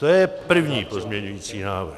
To je první pozměňovací návrh.